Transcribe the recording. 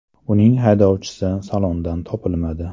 Uning haydovchisi salondan topilmadi .